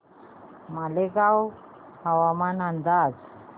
मालेगाव हवामान अंदाज